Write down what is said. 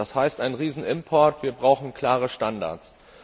Das heißt einen Riesenimport, und wir brauchen klare Standards.